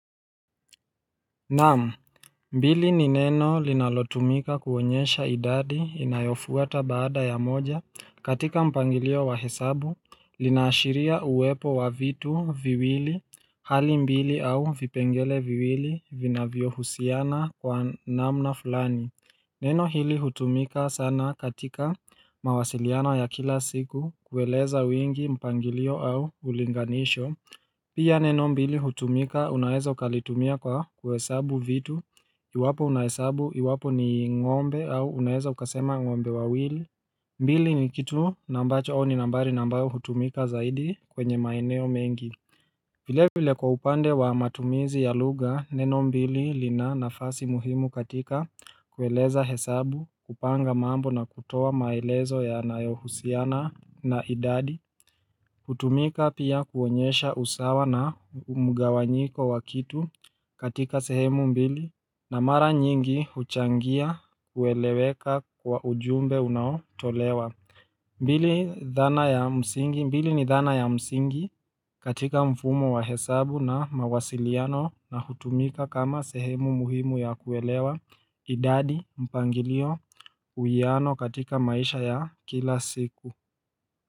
Naam, mbili ni neno linalotumika kuonyesha idadi inayofuata baada ya moja katika mpangilio wa hesabu, linaashiria uwepo wa vitu viwili, hali mbili au vipengele viwili vinavyo husiana kwa namna fulani. Neno hili hutumika sana katika mawasiliano ya kila siku kueleza wingi mpangilio au ulinganisho. Pia neno mbili hutumika unaeza ukalitumia kwa kuhesabu vitu. Iwapo unahesabu, iwapo ni ng'ombe au unaeza ukasema ng'ombe wawili. Mbili ni kitu na ambacho ni nambari na mbayo hutumika zaidi kwenye maeneo mengi. Vile vile kwa upande wa matumizi ya lugha neno mbili lina nafasi muhimu katika kueleza hesabu kupanga mambo na kutoa maelezo yanayohusiana na idadi hutumika pia kuonyesha usawa na mgawanyiko wa kitu katika sehemu mbili na mara nyingi huchangia kueleweka kwa ujumbe unaotolewa mbili ni dhana ya msingi katika mfumo wa hesabu na mawasiliano na hutumika kama sehemu muhimu ya kuelewa idadi mpangilio uwiano katika maisha ya kila siku.